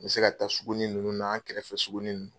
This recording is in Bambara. N bɛ se ka taa sugunin ninnu na an kɛrɛfɛ suguniw.